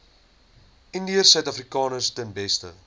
indiërsuidafrikaners ten beste